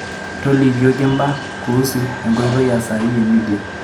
tolikiokimbaa kuusu enkoitoi e sahi e midia